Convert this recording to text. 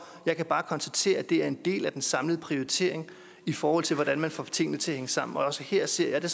jeg kan bare konstatere at det er en del af den samlede prioritering i forhold til hvordan man får tingene til at hænge sammen også her ser jeg det